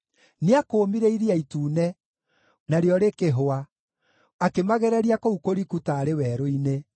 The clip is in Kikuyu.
Nĩakũũmire Iria Itune, narĩo rĩkĩhũa; akĩmagereria kũu kũriku taarĩ werũ-inĩ.